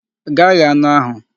Ga ghee anụ ahụ!